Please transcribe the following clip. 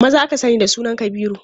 Maza aka sani da sunan Kabiru.